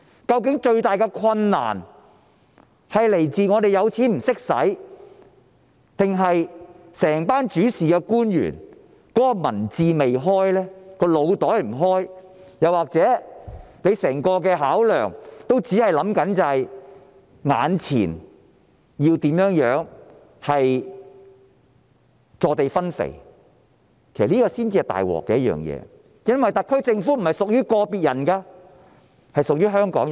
究竟最大的困難是否有錢不懂得用，還是整群主事官員的民智未開、腦袋未開，又或是整個考量也只是志在坐地分肥，這才是最大的問題，因為特區政府並非屬於個別人士，而是屬於香港人。